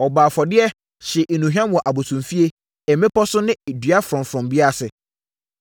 Ɔbɔɔ afɔdeɛ, hyee nnuhwam wɔ abosomfie, mmepɔ so ne dua frɔmfrɔm biara ase.